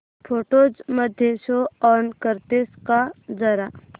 photos मध्ये show all करतेस का जरा